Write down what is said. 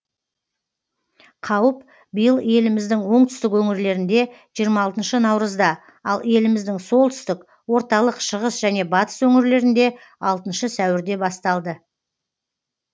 қауіп биыл еліміздің оңтүстік өңірлерінде жиырма алтыншы наурызда ал еліміздің солтүстік орталық шығыс және батыс өңірлерінде алтыншы сәуірде басталды